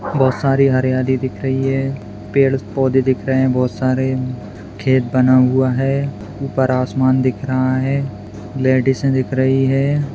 बोहोत सारी हरी-हरी दिख रही है। पेड़-पौधे दिख रहे है बोहोत सारे खेत बना हुआ है। ऊपर आसमान दिख रहा है। लेडीज ऐ दिख रही है।